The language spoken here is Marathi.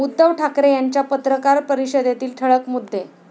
उद्धव ठाकरे यांच्या पत्रकार परिषदेतील ठळक मुद्दे